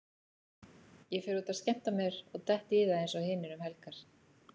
Ég fer út að skemmta mér og dett í það eins og hinir um helgar.